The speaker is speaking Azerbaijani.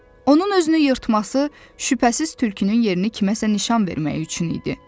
Onun özünü yırtması şübhəsiz tülkünün yerini kimsəyə nişan vermək üçün idi.